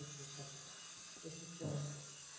এই system আছে।